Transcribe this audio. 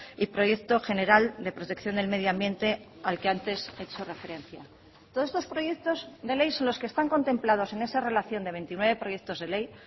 y proyecto general de protección del medio ambiente al que antes he hecho referencia todos estos proyectos de ley son los que están contemplados en esa relación de veintinueve proyectos de ley